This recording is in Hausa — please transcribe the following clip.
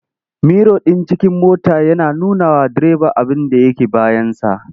Miro ɗin cikin mota yana nunawa direba abinda yake bayansa.